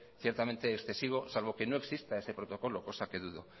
ciertamente excesivo salvo que no exista ese protocolo cosa que dudo